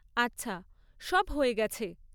আচ্ছা। সব হয়ে গেছে।